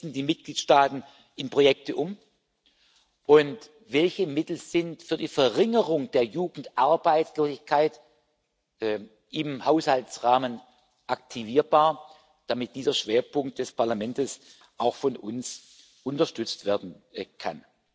die Mitgliedstaaten in Projekte umsetzen und welche Mittel für die Verringerung der Jugendarbeitslosigkeit im Haushaltsrahmen aktivierbar sind, damit dieser Schwerpunkt des Parlamentes auch von uns unterstützt werden kann.